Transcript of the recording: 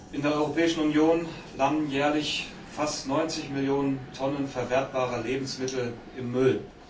In der Europäischen Union landen jährlich fast 90 Millionen Tonnen verwertbare Lebensmittel im Müll.